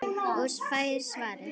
Og fær svarið